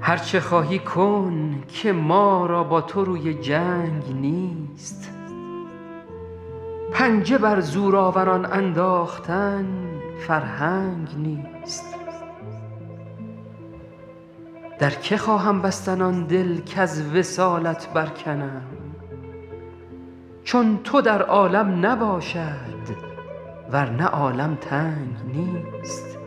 هر چه خواهی کن که ما را با تو روی جنگ نیست پنجه بر زورآوران انداختن فرهنگ نیست در که خواهم بستن آن دل کز وصالت برکنم چون تو در عالم نباشد ور نه عالم تنگ نیست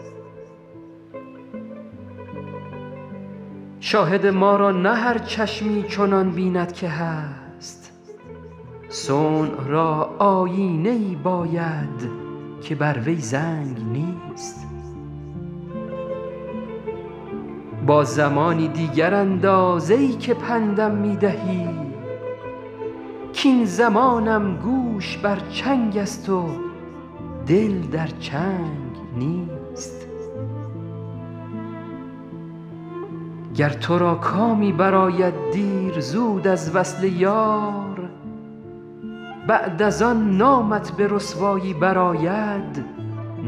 شاهد ما را نه هر چشمی چنان بیند که هست صنع را آیینه ای باید که بر وی زنگ نیست با زمانی دیگر انداز ای که پند م می دهی کاین زمانم گوش بر چنگ است و دل در چنگ نیست گر تو را کامی برآید دیر زود از وصل یار بعد از آن نامت به رسوایی برآید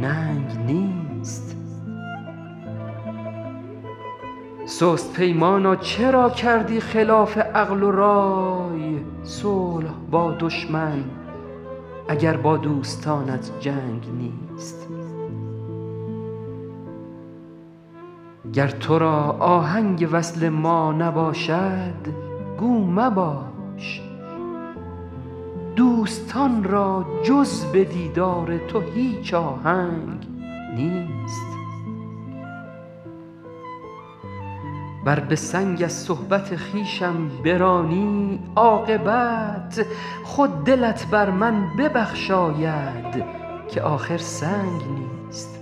ننگ نیست سست پیمانا چرا کردی خلاف عقل و رای صلح با دشمن اگر با دوستانت جنگ نیست گر تو را آهنگ وصل ما نباشد گو مباش دوستان را جز به دیدار تو هیچ آهنگ نیست ور به سنگ از صحبت خویشم برانی عاقبت خود دلت بر من ببخشاید که آخر سنگ نیست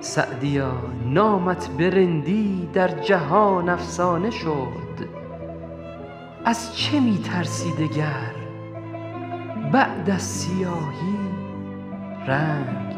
سعدیا نامت به رندی در جهان افسانه شد از چه می ترسی دگر بعد از سیاهی رنگ نیست